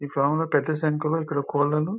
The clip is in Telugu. ఈ ఫామ్ లో పెద్ద సంఖ్యలో ఇక్కడ కోళ్లను--